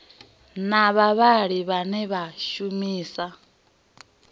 na vhavhali vhane vha shumisa